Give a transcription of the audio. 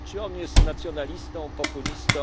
Czy on jest nacjonalistą, populistą?